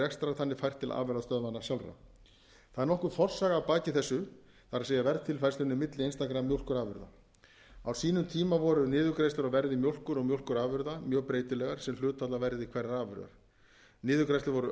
rekstrar þannig fært til afurðastöðvanna sjálfra það er nokkur forsaga að baki þessu það er verðtilfærslunni milli einstakra mjólkurafurða á sínum tíma voru niðurgreiðslur á verði mjólkur og mjólkurafurða mjög breytilegar sem hlutfall af verði hverrar afurðar niðurgreiðslur voru